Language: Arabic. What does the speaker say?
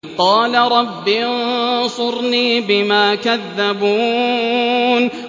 قَالَ رَبِّ انصُرْنِي بِمَا كَذَّبُونِ